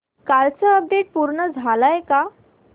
कालचं अपडेट पूर्ण झालंय का